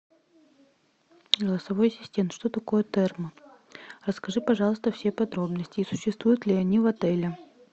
голосовой ассистент что такое термы расскажи пожалуйста все подробности и существуют ли они в отеле